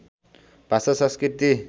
भाषा संस्कृति